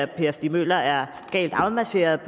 per stig møller er galt afmarcheret